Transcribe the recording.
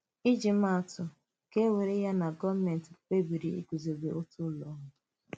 Íjì màà atụ: Kà e wèrè ya na gọọmenti kpebìrì ịgùzòbé otu ụlọ ọrụ.